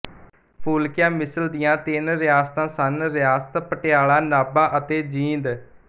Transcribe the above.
ਫੂਲਕੀਆ ਮਿਸਲ ਦੀਆਂ ਤਿੰਨ ਰਿਆਸਤਾਂ ਸਨ ਰਿਆਸਤ ਪਟਿਆਲਾ ਨਾਭਾ ਅਤੇ ਜੀਂਦ